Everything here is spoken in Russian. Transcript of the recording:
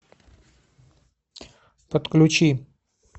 подключи